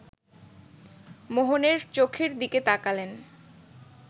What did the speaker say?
মোহনের চোখের দিকে তাকালেন